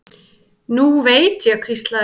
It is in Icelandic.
Nú veit ég, hvíslaði Dóri.